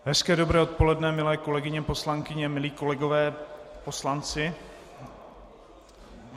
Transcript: Hezké, dobré odpoledne, milé kolegyně poslankyně, milí kolegové poslanci.